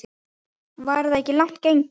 Væri það ekki langt gengið?